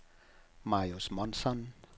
Marius Månsson